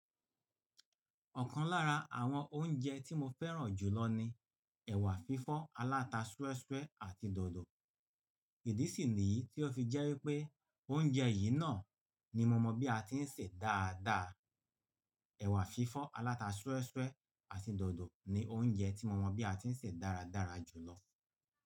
Ọ̀kan lára àwọn oúnjẹ tí mo fẹ́ràn jùlọ ni ẹ̀wà fífọ́ aláta súẹ́súẹ́ àti dòdò. Ìdí sì ní yìí tí ó fi jẹ́ wípé oúnjẹ yìí náà ni mo mọ̀ bí a ti ń sè dáadáa. Ẹ̀wà fífọ́ aláta súẹ́súẹ́ àti dòdò ni oúnjẹ tí mo mọ̀ bí a ti ń sè dáradára jù lọ.